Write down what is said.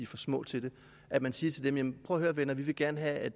for små til det at man siger til dem prøv at høre venner vi vil gerne have at